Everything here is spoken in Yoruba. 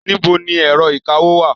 Níbo ni ẹ̀rọ ìkawó wà?